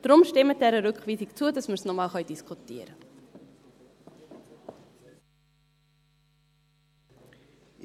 Deshalb: Stimmen Sie dieser Rückweisung zu, damit wir das noch einmal diskutieren können.